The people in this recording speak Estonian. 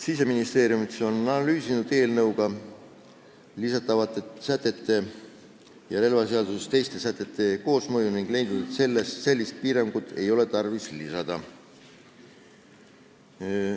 " Siseministeerium on analüüsinud eelnõuga lisatavate sätete ja relvaseaduse teiste sätete koosmõju ning leidnud, et sellist piirangut ei ole tarvis lisada.